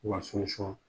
U ka